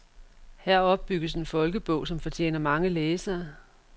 Her opbygges en folkebog, som fortjener mange læsere.